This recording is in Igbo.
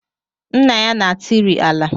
Nna ya na-atịrị ala